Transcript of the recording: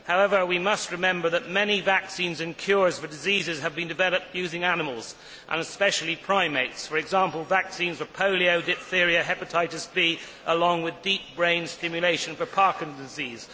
However, we must remember that many vaccines and cures for diseases have been developed using animals, and especially primates for example, vaccines for polio, diphtheria, hepatitis B, along with deep brain stimulation for Parkinson's disease.